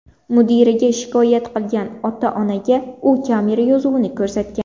Mudiraga shikoyat qilgan ota-onaga u kamera yozuvini ko‘rsatgan.